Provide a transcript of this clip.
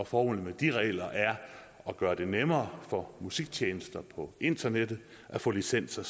formålet med de regler er at gøre det nemmere for musiktjenester på internettet at få licenser